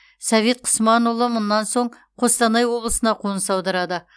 совет құсманұлы мұнан соң қостанай облысына қоныс аударады